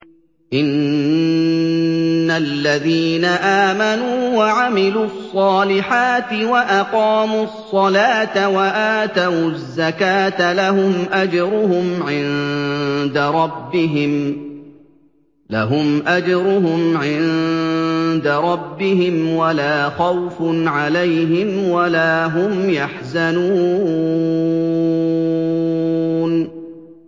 إِنَّ الَّذِينَ آمَنُوا وَعَمِلُوا الصَّالِحَاتِ وَأَقَامُوا الصَّلَاةَ وَآتَوُا الزَّكَاةَ لَهُمْ أَجْرُهُمْ عِندَ رَبِّهِمْ وَلَا خَوْفٌ عَلَيْهِمْ وَلَا هُمْ يَحْزَنُونَ